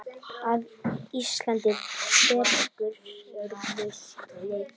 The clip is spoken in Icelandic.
að Ísland bregður sínum sið